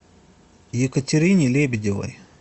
екатерине лебедевой